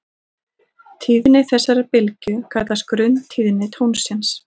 Tíðni þessarar bylgju kallast grunntíðni tónsins.